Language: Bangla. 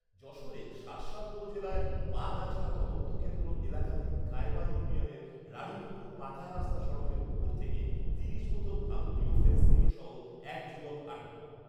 যশোরের শার্শা উপজেলায় বাগআঁচড়া তদন্ত কেন্দ্র এলাকাধীন কায়বা ইউনিয়নের রাড়ীপুকুর পাকা রাস্তা সড়কের উপর থেকে তিরিশ বোতল ভারতীয় ফেন্সিডিল সহ এক যুবক আটক